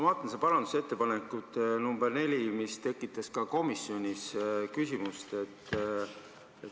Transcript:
Ma vaatan seda parandusettepanekut nr 4, mis tekitas ka komisjonis küsimusi.